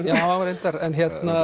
já reyndar en